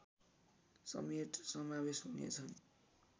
समेत समावेश हुनेछन्